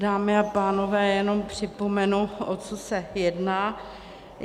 Dámy a pánové, jenom připomenu, o co se jedná.